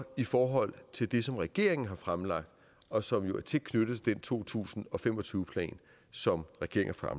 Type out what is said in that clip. i forhold til det som regeringen har fremlagt og som jo er tæt knyttet til to tusind og fem og tyve plan som regeringen har